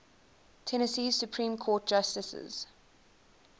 tennessee supreme court justices